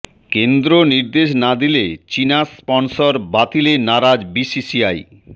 কেন্দ্র নির্দেশ না দিলে চীনা স্পনসর বাতিলে নারাজ বিসিসিআই